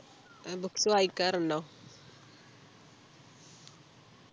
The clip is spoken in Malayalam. ആഹ് books വായിക്കാറുണ്ടോ